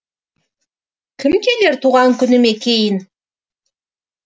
кім келер туған күніме кейін